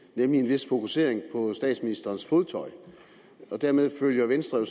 nemlig en vis fokusering på statsministerens fodtøj og dermed følger venstre jo